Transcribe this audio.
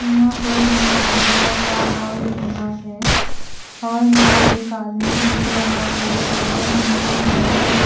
यहाँ पर हमे एक बरा सा हॉल दिख रहा है हॉल में एक आदमी दिख रहा है और हमे बाहर एक--